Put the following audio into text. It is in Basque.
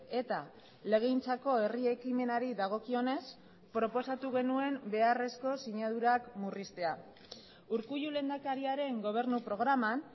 eta legegintzako herri ekimenari dagokionez proposatu genuen beharrezko sinadurak murriztea urkullu lehendakariaren gobernu programan